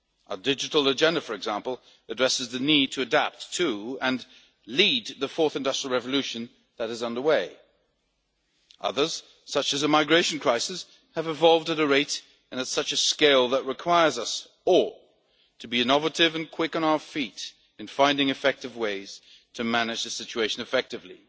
Our digital agenda, for example, addresses the need to adapt to and lead the fourth industrial revolution that is underway. Others, such as the migration crisis, have evolved at a rate, and on a scale, that requires us all to be innovative and quick on our feet in finding ways to manage the situation effectively.